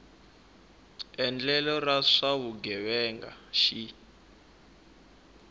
endlelo ra swa vugevenga xi